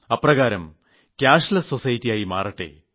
അപ്രകാരം പണമില്ലാ സമൂഹമായി മാറട്ടെ